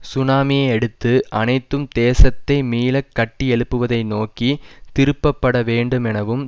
சுனாமியை அடுத்து அனைத்தும் தேசத்தை மீள கட்டியெழுப்புவதை நோக்கி திருப்பப்பட வேண்டுமெனவும்